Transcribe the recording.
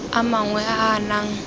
a mangwe a a nang